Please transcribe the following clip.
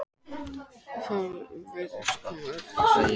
Ég veit það ekki, ætli maður drífi sig ekki á barinn.